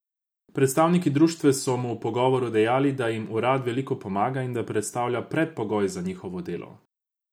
Predstavniki društev so mu v pogovoru dejali, da jim urad veliko pomaga in da predstavlja predpogoj za njihovo delo.